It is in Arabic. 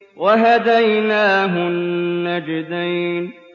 وَهَدَيْنَاهُ النَّجْدَيْنِ